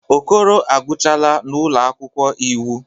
Okoro agụchaala n'ụlọ akwụkwọ iwu.